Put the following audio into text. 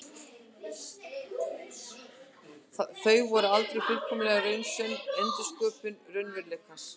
Þau verða aldrei fullkomlega raunsönn endursköpun raunveruleikans.